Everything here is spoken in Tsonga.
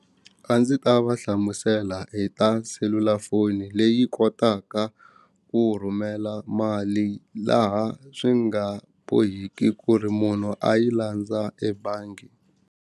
A ndzi ta va hlamusela hi ta selulafoni leyi kotaka ku rhumela mali laha swi nga bohiki ku ri munhu a yi landza ebangi.